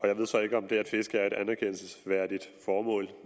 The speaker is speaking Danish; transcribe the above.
jeg ved så ikke om det at fiske er et anerkendelsesværdigt formål